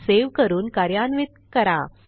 save करून कार्यान्वित करा